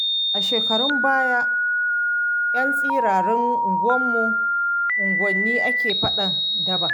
A shekarun baya a 'yan tsirarin unguwanni ake faɗan daba.